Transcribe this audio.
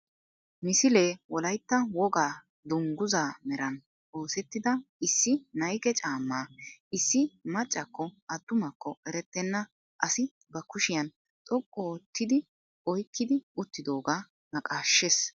Misilee wolaytta wogaa dungguzaa meran oosettida issi nayke caammaa issi maccakko attumakko erettenna asi ba kushiyan xoqqu oottidi oykkidi uttidoogaa naqaashshees.